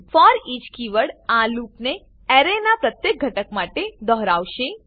foreach keyword આ લૂપને એરેનાં પ્રત્યેક ઘટક માટે દોહરાવશે